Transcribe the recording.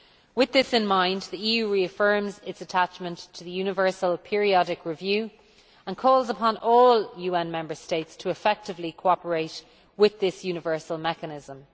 With this in mind, the EU reaffirms its attachment to the universal periodic review and calls upon all UN member states to effectively cooperate with this universal mechanism.